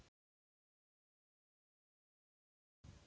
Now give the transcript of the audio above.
Dísa les mikið.